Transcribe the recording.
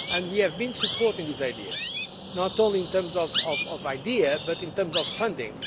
We have been supporting this idea, not only in terms of ideas but in terms of funding.